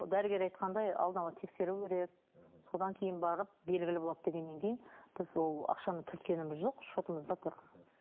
дәрігер айтқандай алдын ала тексеру керек содан кейін барып белгілі болады дегеннен кейін біз ол ақшаны түрткеніміз жоқ шотымызда тұр